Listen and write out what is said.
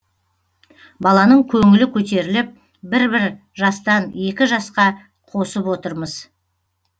баланың көңілі көтеріліп бір бір жастан екі жасқа қосып отырмыз